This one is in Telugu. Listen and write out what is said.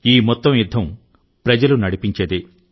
ఈ మొత్తం యుద్ధం ప్రజలు నడిపించేదే